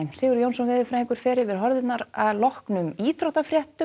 Sigurður Jónsson veðurfræðingur fer yfir horfurnar að loknum íþróttafréttum